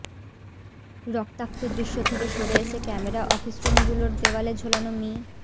রক্তাক্ত দৃশ্য থেকে সরে এসে ক্যামেরা অফিসরুমগুলোর দেয়ালে ঝোলানো মি